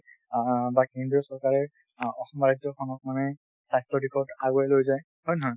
অ বা কেন্দ্ৰীয় চৰকাৰে অসমৰ ৰাজ্য খনক মানে স্বাস্থ্যৰ দিশত আগুৱাই লৈ যায় হয় নে নহয়।